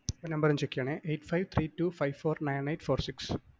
ഈ number ഒന്ന് check ചെയ്യണേ eight five three two five four nine eight four six